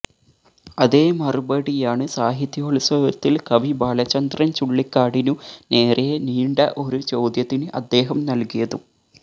അതേ മറുപടിയാണ് സാഹിത്യോത്സവത്തിൽ കവി ബാലചന്ദ്രൻ ചുള്ളിക്കാടിനു നേരേ നീണ്ട ഒരു ചോദ്യത്തിന് അദ്ദേഹം നൽകിയതും